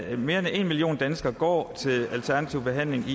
at mere end en million danskere går til alternativ behandling i